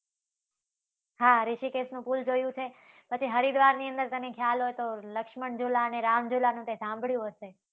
હા, રીષિકેશનું પુલ જોયુ છે. પછી હરિદ્વારની અંદર તને ખ્યાલ હોય તો, લક્ષ્મણ ઝુલા અને રામ ઝુલાનું તે સાંભળ્યું હશે